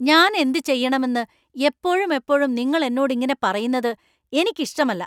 ഞാൻ എന്ത് ചെയ്യണമെന്ന് എപ്പോഴുമെപ്പോഴും നിങ്ങൾ എന്നോട് ഇങ്ങനെ പറയുന്നത് എനിക്ക് ഇഷ്ടമല്ല.